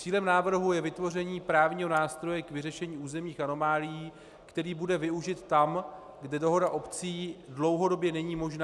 Cílem návrhu je vytvoření právního nástroje k vyřešení územních anomálií, který bude využit tam, kde dohoda obcí dlouhodobě není možná.